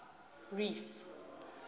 reef